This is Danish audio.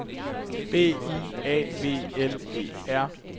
B I A V L E R